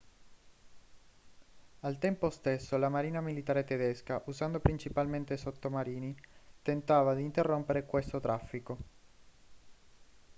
al tempo stesso la marina militare tedesca usando principalmente sottomarini tentava di interrompere questo traffico